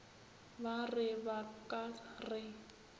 ba re ba ka re